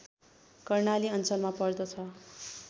कर्णाली अञ्चलमा पर्दछ